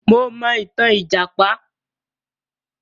Mo mọ itan lìjàpá.